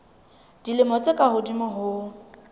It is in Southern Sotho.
dilemo tse ka hodimo ho